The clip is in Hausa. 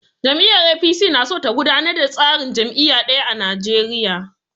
Jam'iyyar APC na so ta gudanar da tsarin jam'iyya ɗaya a Nigeria.